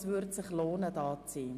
Es würde sich lohnen, hier zu sein.